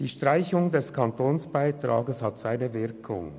Die Streichung des Kantonsbeitrages hat ihre Wirkung: